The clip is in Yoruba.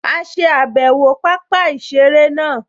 A ṣe àbẹ̀wò pápá-ìseré náà